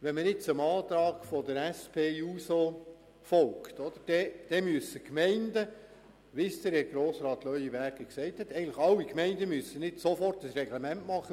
» Wenn man jetzt dem Antrag von der SP-JUSO-PSA folgt, dann müssen Gemeinden, wie Grossrat Leuenberger gesagt hat, nicht sofort ein neues Reglement erstellen.